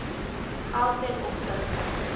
geld ten opsigte